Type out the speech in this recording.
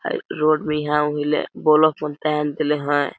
Five road में ही हाव हिले बोलो पन तेन दिल हय।